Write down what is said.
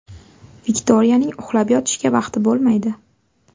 Viktoriyaning uxlab yotishga vaqti bo‘lmaydi.